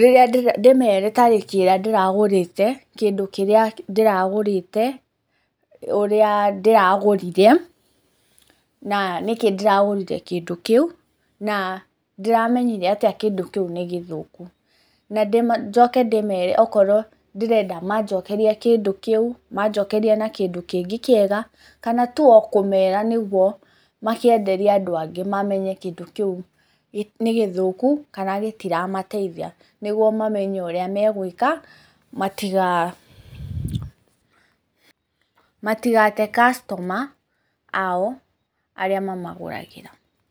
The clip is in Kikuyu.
rĩrĩa ndĩmere, tarĩki ĩrĩa ndĩragũrĩte kĩndũ kĩrĩa ndĩragũrĩte, ũrĩa ndĩragũrire na nĩkĩ ndĩragũrire kĩndũ kĩu na ndĩramenyire atĩa kĩndũ kĩu nĩ gĩthũku njoke ndĩmere okorwo ndĩrenda manjokerie kĩndũ kĩu manjokerie na kĩndũ kĩngĩ kĩega kana tũ o kũmera nĩgũo makĩenderia andũ angĩ mamenye kĩndũ kĩu nĩ gĩthũku kana gĩtiramateithia nĩgũo mamenye ũrĩa megwĩka matigate customer ao arĩa mamagũragĩra.